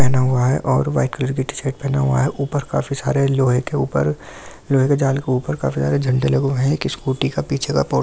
पहना हुआ है और वाइट कलर की टीशर्ट पहना हुआ है ऊपर काफी सारे लोहे के ऊपर लोहे के जाल के ऊपर काफी सारे झंडे लगे हुए हैं एक स्कूटी का पीछे का पोर --